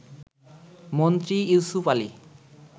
Mantri Yusuf Ali